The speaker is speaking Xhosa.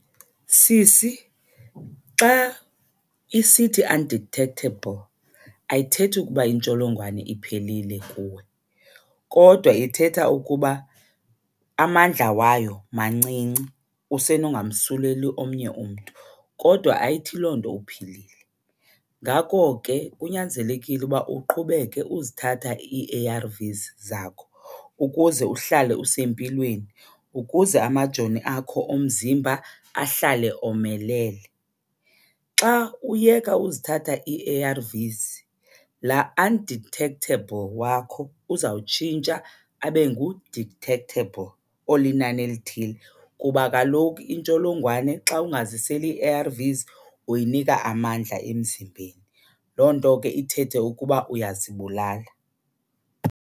Sisi, xa isithi undetectable ayithethi ukuba intsholongwane iphelile kuwe kodwa ithetha ukuba amandla wayo mancinci usenongamsuleli omnye umntu, kodwa ayithi loo nto uphilile. Ngako ke kunyanzelekile uba uqhubeke uzithatha ii-A_R_Vs zakho ukuze uhlale usempilweni, ukuze amajoni akho omzimba ahlale omelele. Xa uyeka uzithatha ii-A_R_Vs, la undetectable wakho uzawutshintsha abe ngu-detactable olinani elithile kuba kaloku intsholongwane xa ungaziseli ii-A_R_Vs uyinika amandla emzimbeni. Loo nto ke ithethe ukuba uyazibulala.